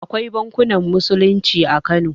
Akwai bankunan musulunci a kano